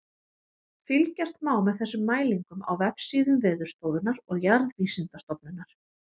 Fylgjast má með þessum mælingum á vefsíðum Veðurstofunnar og Jarðvísindastofnunar.